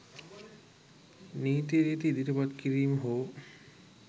නීති රීති ඉදිරිපත් කිරීම හෝ